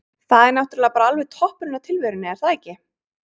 Það er náttúrulega bara alveg toppurinn á tilverunni er það ekki?